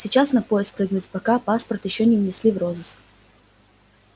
сейчас на поезд прыгнуть пока паспорт ещё не внесли в розыск